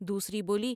دوسری بولی ۔